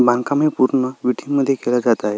बांधकाम पुर्ण मध्ये केल जात आहे.